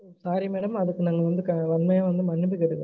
Sorry madam அதுக்கு நாங்க வந்து கடுமையா வந்து மன்னிப்பு கேட்டுக்குறொம்